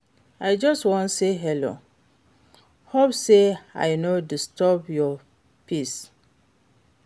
I just wan say hello, hope say I no disturb your peace?